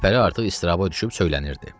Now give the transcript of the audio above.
Gülpəri artıq istiraba düşüb söylənirdi.